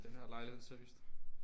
Den her lejlighed seriøst